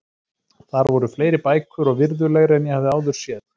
Þar voru fleiri bækur og virðulegri en ég hafði áður séð.